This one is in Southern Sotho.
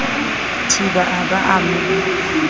thiba a ba a mo